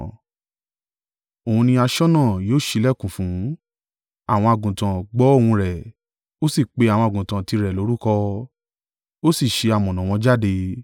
Òun ni aṣọ́nà yóò ṣílẹ̀kùn fún; àwọn àgùntàn gbọ́ ohùn rẹ̀, ó sì pe àwọn àgùntàn tirẹ̀ lórúkọ, ó sì ṣe amọ̀nà wọn jáde.